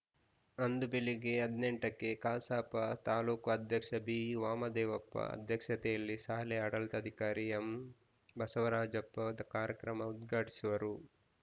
ಅಂದು ಬೆಳಿಗ್ಗೆ ಹದಿನೆಂಟಕ್ಕೆಕ್ಕೆ ಕಸಾಪ ತಾಲೂಕ್ ಅಧ್ಯಕ್ಷ ಬಿವಾಮದೇವಪ್ಪ ಅಧ್ಯಕ್ಷತೆಯಲ್ಲಿ ಶಾಲೆ ಆಡಳಿತಾಧಿಕಾರಿ ಎಂಬಸವರಾಜಪ್ಪ ಕಾರ್ಯಕ್ರಮ ಉದ್ಘಾಟಿಸುವರು